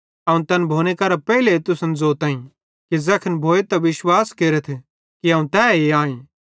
अवं तैन भोने करां पेइले तुसन ज़ोताईं कि ज़ैखन भोए त विश्वास केरथ कि अवं तैए आईं